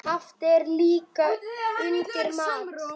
Haft er líka undir mat.